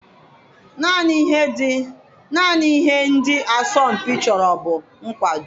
Naanị ihe ndị asọmpi chọrọ bụ nkwado.